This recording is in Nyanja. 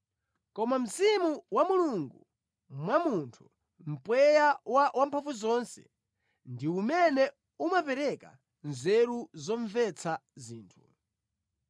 Koma mzimu wa Mulungu mwa munthu, mpweya wa Wamphamvuzonse, ndi umene umapereka nzeru zomvetsa zinthu.